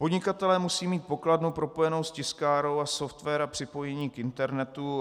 Podnikatelé musí mít pokladnu propojenou s tiskárnou a software a připojení k internetu.